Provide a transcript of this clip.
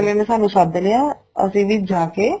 ਨੇ ਸਾਨੂੰ ਸੱਦ ਲਿਆ ਅਸੀਂ ਵੀ ਜਾ ਕੇ